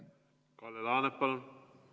Kalle Laanet, palun!